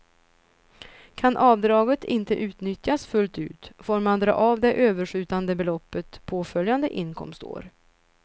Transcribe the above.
Kan avdraget inte utnyttjas fullt ut, får man dra av det överskjutande beloppet påföljande inkomstår.